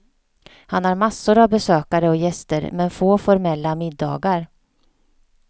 Han har massor av besökare och gäster men få formella middagar.